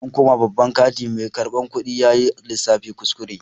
Zan koma babban kanti, mai karbar kudi yayi lissafin kuskure.